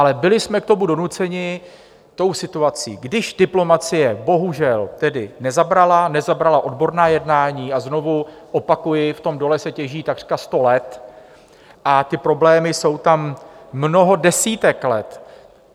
Ale byli jsme k tomu donuceni tou situací, když diplomacie bohužel tedy nezabrala, nezabrala odborná jednání - a znovu opakuji, v tom dole se těží takřka sto let a ty problémy jsou tam mnoho desítek let.